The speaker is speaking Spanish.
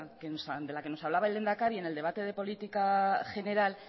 de la que nos hablaba el lehendakari en el debate de política general